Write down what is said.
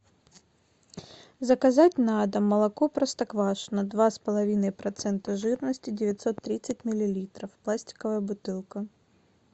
заказать на дом молоко простоквашино два с половиной процента жирности девятьсот тридцать миллилитров пластиковая бутылка